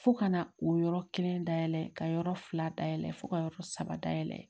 Fo ka na o yɔrɔ kelen dayɛlɛ ka yɔrɔ fila dayɛlɛ fo ka yɔrɔ saba dayɛlɛ